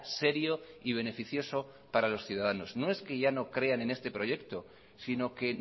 serio y beneficioso para los ciudadanos no es que ya no crean en este proyecto sino que